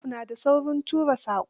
Wasop, na da saurin tura saƙo